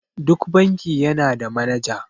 Duk banki yana da manaja.